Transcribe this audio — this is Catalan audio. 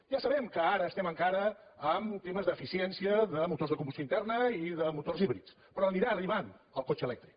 ja sabem que ara estem encara en temes d’eficiència de motors de combustió interna i de motors híbrids però anirà arribant el cotxe elèctric